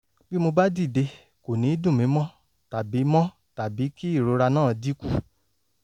bí mo bá dìde kò ní dùn mí mọ́ tàbí mọ́ tàbí kí ìrora náà dínkù